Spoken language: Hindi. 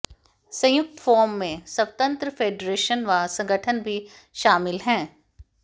संयुक्त फोरम में स्वतंत्र फेडरेशन व संगठन भी शामिल हैं